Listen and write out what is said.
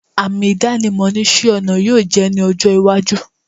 Àmì ìdánimọ̀ ni isẹ́-ọnà yóò jẹ́ ní ọjọ́-iwájú.